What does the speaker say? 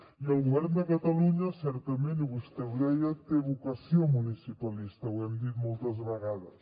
i el govern de catalunya certament i vostè ho deia té vocació municipalista ho hem dit moltes vegades